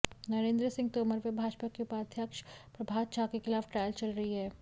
नरेन्द्र सिंह तोमर व भाजपा के उपाध्याक्ष प्रभात झा के खिलाफ ट्रायल चल रही है